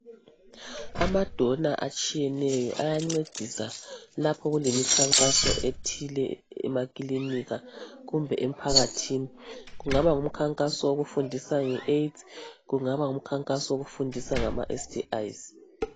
Abadona atshiyeneyo ayancedisa lapho kulemikhankaso ethile emakilinika kumbe emphakathini. Kungaba ngumkhankaso wokufundisa ngeAIDS kungaba ngumkhankaso wokufundisa ngama STIs.